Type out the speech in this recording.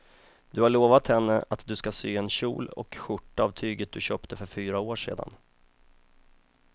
Du har lovat henne att du ska sy en kjol och skjorta av tyget du köpte för fyra år sedan.